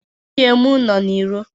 Nwunye m nọọ n'iro.